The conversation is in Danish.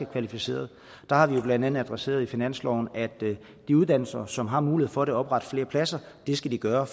kvalificeret og der har vi blandt andet adresseret i finansloven at de uddannelser som har mulighed for at oprette flere pladser skal gøre